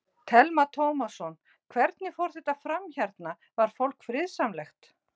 Telma Tómasson: Hvernig fór þetta fram hérna, var fólk friðsamlegt?